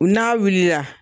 N'a wulila